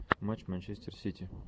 матч манчестер сити